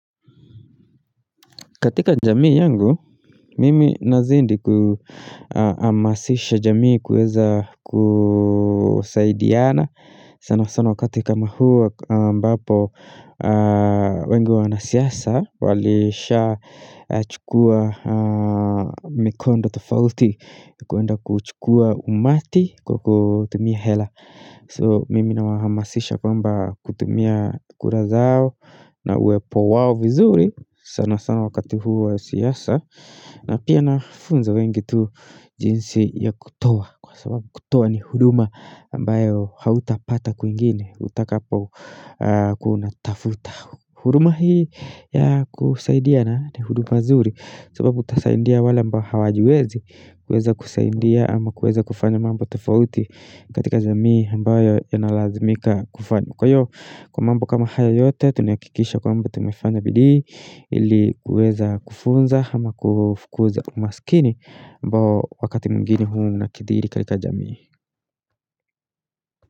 Katika jamii yangu, mimi nazidi kuhamasisha jamii kuweza kusaidiana sana sana wakati kama huu ambapo wengi wa wanasiasa walishachukua mikondo tofauti kuenda kuchukua umati kwa kutumia hela. So mimi nawahamasisha kwamba kutumia kura zao na uwepo wao vizuri sana sana wakati huu wa siasa na pia nafunza wengi tu jinsi ya kutoa kwa sababu kutoa ni huduma ambayo hautapata kwingine utakapokuwa unatafuta. Huduma hii ya kusaidiana ni huduma nzuri sababu utasaidia wale ambao hawajiwezi kuweza kusaidia ama kuweza ama kuweza kufanya mambo tofauti katika jamii ambayo inalazimika kufanya Kwa hivyo kwa mambo kama haya yote tunahakikisha kwamba tumefanya bidii Ili kuweza kufunza ama kufukuza umaskini ambao wakati mwingine huwa unakithiri katika jamii.